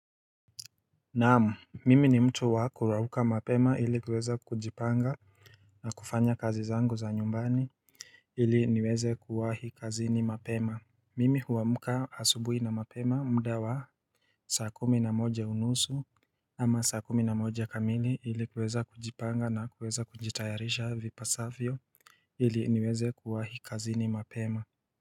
Naamu, mimi ni mtu wa kurauka mapema ili kuweza kujipanga na kufanya kazi zangu za nyumbani ili niweze kuwahi kazi ni mapema Mimi huamka asubuhi na mapema mdawa Saakumi na moja unusu ama saakumi na moja kamili ili kuweza kujipanga na kuweza kunjitayarisha vipasavyo ili niweze kuwahi kazi ni mapema.